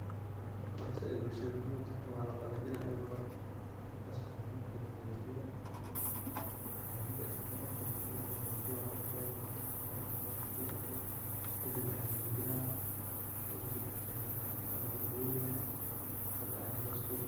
wax zaaid bulshada muhim ugu tahay, waa la qalaajini ega hore, fasti hore, marki la qalajiyo aa marki asaga sa losoo guro ini la qalajiyo way qoraxd ay qabato, markay qoraxd ay qabato uu engago kadib aya la finjilaaya kadib aya markas aya loo dubaya marka aya loo dubaya